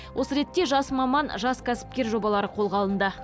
осы ретте жас маман жас кәсіпкер жобалары қолға алынды